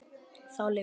Þá lyfti